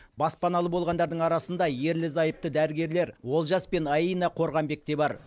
баспаналы болғандардың арасында ерлі зайыпты дәрігерлер олжас пен аина қорғанбек те бар